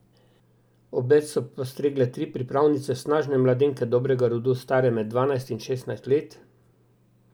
Obed so postregle tri pripravnice, snažne mladenke dobrega rodu, stare med dvanajst in šestnajst let.